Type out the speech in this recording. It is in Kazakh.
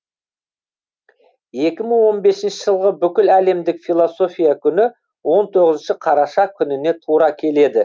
екі мың он бесінші жылғы бүкіләлемдік философия күні он тоғызыншы қараша күніне тура келеді